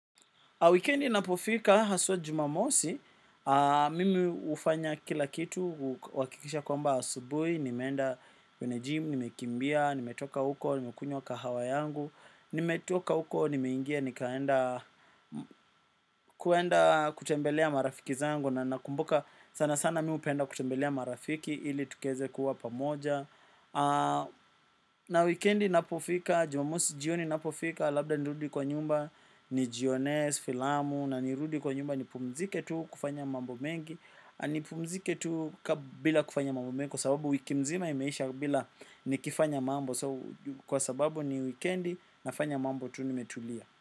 Wikendi inapofika, haswa jumamosi, mimi hufanya kila kitu, huhakikisha kwamba asubui, nimeenda kwenye jimu, nimekimbia, nimetoka huko, nimekunywa kahawa yangu, nimetoka huko, nimeingia, nikaenda, kuenda kutembelea marafiki zangu, na nakumbuka sana sana mimi hupenda kutembelea marafiki, ili tukqeze kuwa pamoja. Na wikendi inapofika, jumamosi jioni inapofika. Labda nirudi kwa nyumba nijionee, filamu. Na nirudi kwa nyumba nipumzike tu kufanya mambo mengi. Nipumzike tu bila kufanya mambo mengi. Kwa sababu wiki mzima imeisha bila nikifanya mambo. Kwa sababu ni wikendi nafanya mambo tu nimetulia.